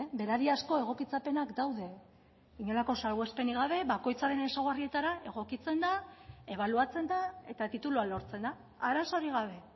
berariazko egokitzapenak daude inolako salbuespenik gabe bakoitzaren ezaugarrietara egokitzen da ebaluatzen da eta titulua lortzen da arazorik gabe